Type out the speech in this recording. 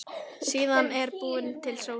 Síðan er búin til sósa.